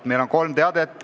Mul on kolm teadet.